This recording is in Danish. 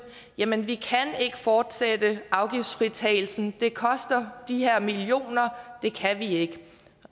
jamen vi kan ikke fortsætte afgiftsfritagelsen det koster de her millioner det kan vi